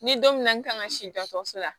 Ni don min na n kan ka si dɔgɔtɔrɔso la